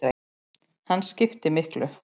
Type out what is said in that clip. Hann skiptir miklu.